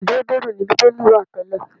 Èdè Hébérù ni Bíbélì wà tẹ́lẹ̀.